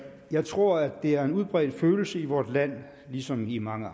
jeg tror at det er en udbredt følelse i vort land ligesom i mange